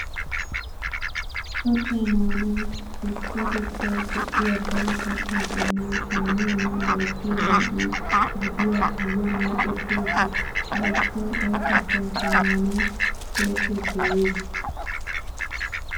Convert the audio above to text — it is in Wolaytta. Kattaa maanawu usttatettawu go''iya daro kattaa qommoy shammiyonne bayzziyo man"e gidiya giyan micetti uttiis. Ha usttay ay kattaakka maanawu kookkiya dooyees.